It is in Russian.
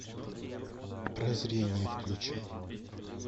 прозрение включай